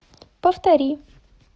повтори